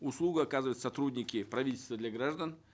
услугу оказывают сотрудники правительство для граждан